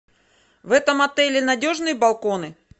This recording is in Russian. в этом отеле надежные балконы